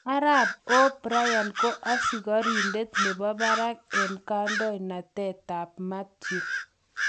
Arap O ' Brian ko asikoridet nebo barak eng kadoinatet tab Mathew.